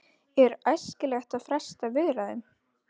Er æskilegt að fresta viðræðum?